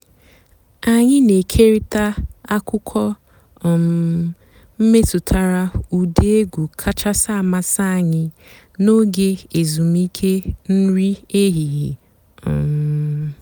ányị́ nà-ékérị́tá àkụ́kọ̀ um mètùtàrà ụ́dị́ ègwú kàchàsị́ àmásị́ ànyị́ n'óge èzùmìké nrí èhìhè. um